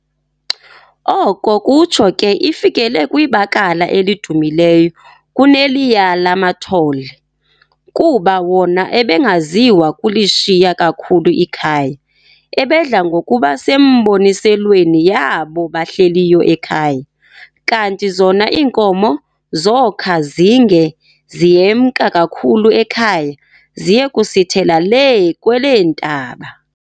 Oko kutsho ke ifikele kwibakala elidumileyo kuneliya lamathole, kuba wona abengaziwa kulishiya kakhulu ikhaya, abedla ngokuba semboniselweni yaabo bahleliyo ekhaya, kanti zona iinkomo zokha zinge ziyemka kakhulu ekhaya ziye kusithela lee kweleentaba.